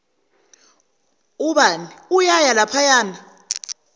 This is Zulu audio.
ubani uyaya laphayana